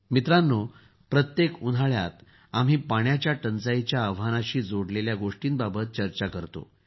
मित्रांनो प्रत्येक उन्हाळ्यात आम्ही पाण्याच्या टंचाईच्या आव्हानाशी जोडलेल्या गोष्टींबाबत चर्चा करत असतो